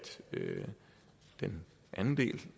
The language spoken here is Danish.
den anden del